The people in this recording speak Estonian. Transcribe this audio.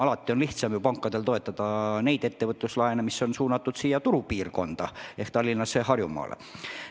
Alati on pankadel lihtsam toetada neid ettevõtluslaene, mis on suunatud siia turupiirkonda ehk Tallinnasse ja Harjumaale.